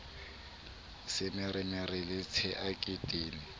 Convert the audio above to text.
semeremere le tshea ke tene